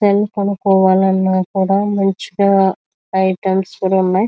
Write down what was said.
Cell కొనుకోవాలి అన్న కూడా మంచిగా ఐటమ్స్ కూడా ఉన్నాయి .